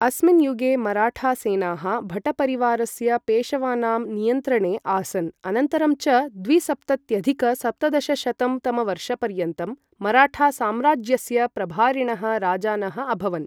अस्मिन् युगे मराठासेनाः भटपरिवारस्य पेशवानां नियन्त्रणे आसन् अनन्तरं च द्विसप्तत्यधिक सप्तदशशतं तमवर्षपर्यन्तं मराठासाम्राज्यस्य प्रभारिणः राजानः अभवन्।